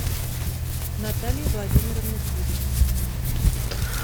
наталья владимировна тюрина